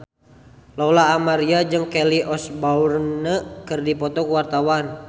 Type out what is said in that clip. Lola Amaria jeung Kelly Osbourne keur dipoto ku wartawan